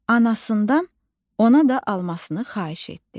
Anasından ona da almasını xahiş etdi.